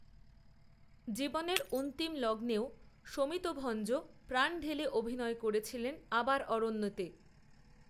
জীবনেরঅন্তিম লগ্নেও শমিত ভঞ্জ প্রাণ ঢেলে অভিনয় করেছিলেনআবার অরণ্যেতে